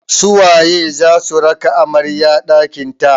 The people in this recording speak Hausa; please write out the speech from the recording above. Su waye za su raka amarya ɗakin ta?